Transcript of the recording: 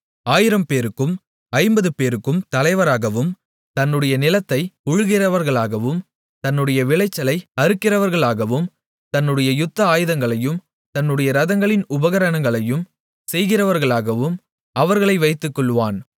1000 பேருக்கும் 50 பேருக்கும் தலைவராகவும் தன்னுடைய நிலத்தை உழுகிறவர்களாகவும் தன்னுடைய விளைச்சலை அறுக்கிறவர்களாகவும் தன்னுடைய யுத்த ஆயுதங்களையும் தன்னுடைய ரதங்களின் உபகரணங்களையும் செய்கிறவர்களாகவும் அவர்களை வைத்துக்கொள்ளுவான்